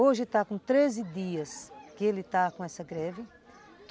Hoje está com treze dias que ele está com essa greve.